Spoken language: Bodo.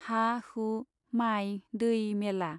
हा हु , माइ दै मेला।